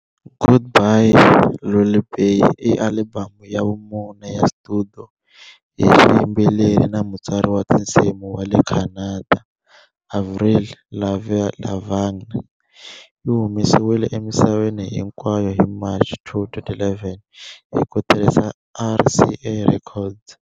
Goodbye Lullaby i alibamu ya vumune ya studio hi xiyimbeleri na mutsari wa tinsimu wa le Canada Avril Lavigne. Yi humesiwile emisaveni hinkwayo hi March 2, 2011 hi ku tirhisa RCA Records.